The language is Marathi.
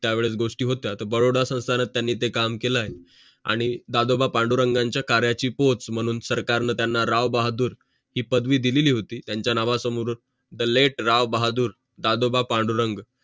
त्या वेळेस गोष्टी होत्या बडोदा संस्थानात त्यांनी ते काम केलेलं आहे आणि दादोबा पांडुरंग यांची पोहोच मनून राव बहादूर ही पदवी दिलेली होती त्यांचा नावा समोर द लेट राव बहादूर दादोबा पांडुरंग